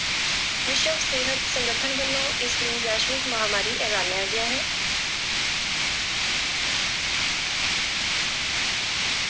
ਵਿਸ਼ਵ ਸਿਹਤ ਸੰਗਠਨ ਵੱਲੋ ਇਸ ਨੂੰ ਵੈਸ਼ਵਿਕ ਮਹਾਂਮਾਰੀ ਐਲਾਨਿਆ ਗਿਆ ਹੈ।